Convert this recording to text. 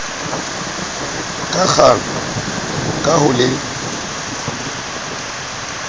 ka kgang ka ho le